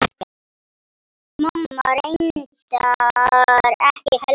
En ég segi ekkert.